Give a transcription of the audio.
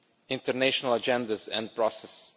international agendas and processes